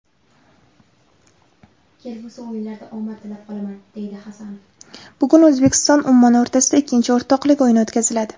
Bugun O‘zbekistonUmmon o‘rtasida ikkinchi o‘rtoqlik o‘yini o‘tkaziladi.